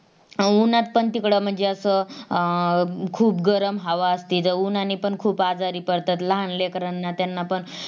उन्हात पण तिकडे म्हणजे अस अं खूप गरम हवा असते तिथं उन्हाने पण खूप आजारी पडतात लहान लेकरांना त्यांनापण